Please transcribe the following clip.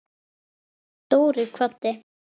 Dóri kvaddi.